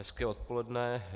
Hezké odpoledne.